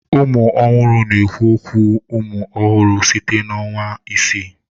Ụmụ ọhụrụ na-ekwu okwu umụ ọhụrụ site na ọnwa isii.